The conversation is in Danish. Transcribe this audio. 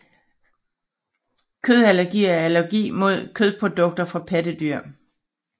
Kødallergi er allergi mod kødprodukter fra pattedyr